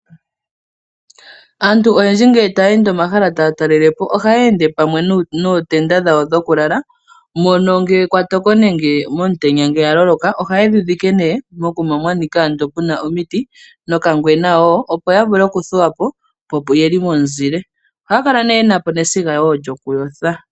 Aantu oyendji ngele taya ende omahala taya talelepo ohaya ende pamwe nootenda dhawo dhokulala mono ngele kwatoko nenge kuna omutenya haye dhidhike nee mokunwa mwanika nee muna omiti nokangwena woo opo yavule okuthuwapo yo oyeli momuzile. Ohaya kala woo yenapo nesiga lyokuyotha.